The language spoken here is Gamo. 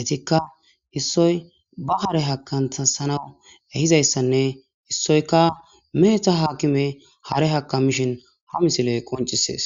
etika isoyi ba hara hakantanawu ehizayisanne isoyika meheta hakime hare hakamishen ha misile qonc'ises